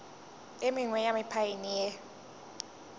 e mengwe ya mephaene e